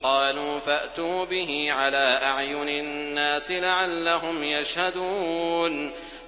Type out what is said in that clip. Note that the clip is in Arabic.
قَالُوا فَأْتُوا بِهِ عَلَىٰ أَعْيُنِ النَّاسِ لَعَلَّهُمْ يَشْهَدُونَ